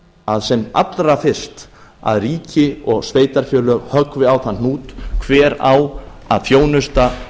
að sem allra fyrst höggvi ríki og sveitarfélög á þann hnút hver á að þjónusta